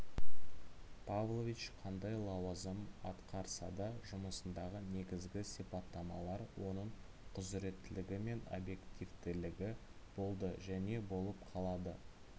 павлович қандай лауазым атқарсада жұмысындағы негізгі сипаттамалар оның құзыреттілігі мен объективтілігі болды және болып қалады